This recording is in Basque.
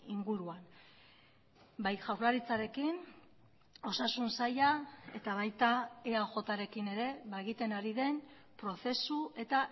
inguruan bai jaurlaritzarekin osasun saila eta baita eajrekin ere egiten ari den prozesu eta